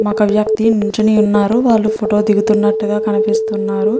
మొగ వ్యక్తి నిలుచొని ఉన్నారు వాళ్ళు ఫోటో దిగుతున్నట్టుగా కనిపిస్తున్నారు.